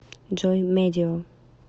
джой медио